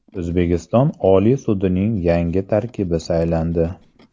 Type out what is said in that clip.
O‘zbekiston Oliy sudining yangi tarkibi saylandi.